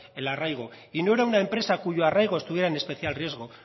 el arraigo y no era una empresa cuyo arraigo estuviera en especial riesgo